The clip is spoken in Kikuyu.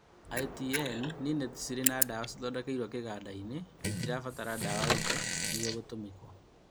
ITN nĩ neti cirĩ na dawa cithondekeirwo kĩganda inĩ na itirabatara dawa ĩngĩ nĩguo gũtũmĩra